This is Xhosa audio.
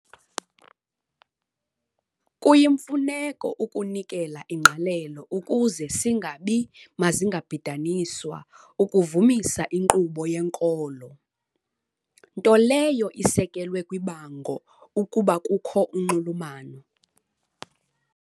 kuyimfuneko ukunikela ingqalelo ukuze singabi mazingabhidaniswa ukuvumisa inkqubo yenkolo, nto leyo isekelwe kwibango ukuba kukho unxulumano.